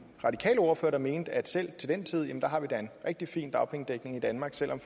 radikale ordfører der mente at selv til den tid har vi da en rigtig fin dagpengedækning i danmark selv om